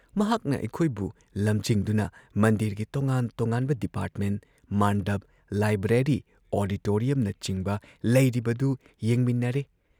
ꯃꯍꯥꯛꯅ ꯑꯩꯈꯣꯏꯕꯨ ꯂꯝꯖꯤꯡꯗꯨꯅ ꯃꯟꯗꯤꯔꯒꯤ ꯇꯣꯉꯥꯟ ꯇꯣꯉꯥꯟꯕ ꯗꯤꯄꯥꯔꯠꯃꯦꯟꯠ, ꯃꯥꯟꯗꯞ, ꯂꯥꯏꯕ꯭ꯔꯦꯔꯤ, ꯑꯣꯗꯤꯇꯣꯔꯤꯌꯝꯅꯆꯤꯡꯕ ꯂꯩꯔꯤꯕꯗꯨ ꯌꯦꯡꯃꯤꯟꯅꯔꯦ ꯫